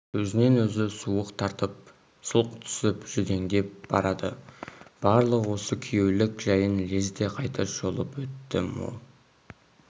өзінен-өзі суық тартып сұлқ түсіп жүдеңдеп барады барлық осы күйеулік жәйін лезде қайта шолып өтті мол